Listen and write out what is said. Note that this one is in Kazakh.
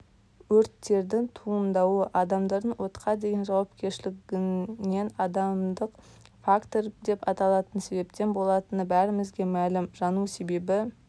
өрттердің туындауы адамдардың отқа деген жауапкершіліксіздігінен адамдық фактор деп аталатын себептен болатыны бәрімізге мәлім жану себебі